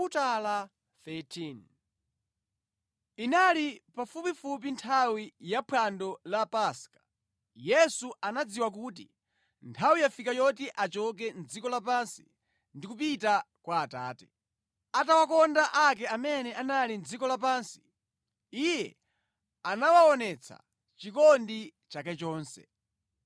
Inali pafupifupi nthawi ya phwando la Paska. Yesu anadziwa kuti nthawi yafika yoti achoke mʼdziko lapansi ndi kupita kwa Atate. Atawakonda ake amene anali mʼdziko lapansi, Iye anawaonetsa chikondi chake chonse.